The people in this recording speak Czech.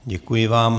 Děkuji vám.